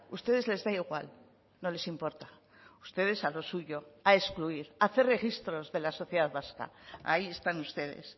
ustedes les da igual no les importa ustedes a lo suyo a excluir a hacer registros de la sociedad vasca ahí están ustedes